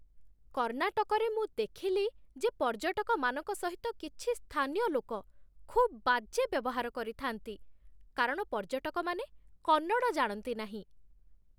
କର୍ଣ୍ଣାଟକରେ ମୁଁ ଦେଖିଲି ଯେ ପର୍ଯ୍ୟଟକମାନଙ୍କ ସହିତ କିଛି ସ୍ଥାନୀୟ ଲୋକ ଖୁବ୍ ବାଜେ ବ୍ୟବହାର କରିଥାନ୍ତି କାରଣ ପର୍ଯ୍ୟଟକମାନେ କନ୍ନଡ଼ ଜାଣନ୍ତି ନାହିଁ।